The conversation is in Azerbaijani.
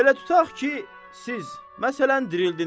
Belə tutaq ki, siz, məsələn, dirildiniz.